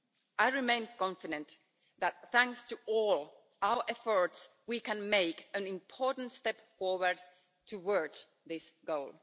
I remain confident that, thanks to all our efforts, we can take an important step forward towards this goal.